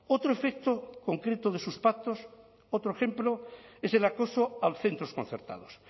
otro efecto concreto de sus pactos otro ejemplo es el acoso a los centros concertados